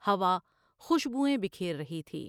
ہوا خوشبوئیں بکھیر رہی تھی ۔